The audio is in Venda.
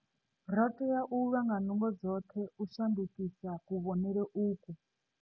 Ri tea u lwa nga nungo dzoṱhe u shandukisa kuvhonele ukwu.